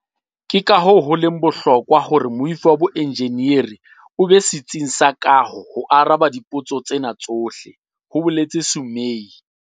"Ke kahoo ho leng bohlokwa hore moifo wa boenjeneri o be setsing sa kaho ho araba dipotso tsena tsohle," ho boletse Sumay.